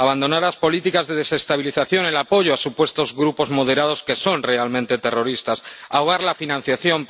abandonar las políticas de desestabilización, el apoyo a supuestos grupos moderados que son realmente terroristas ahogar la financiación